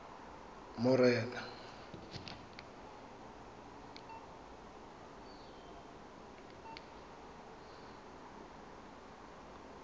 morena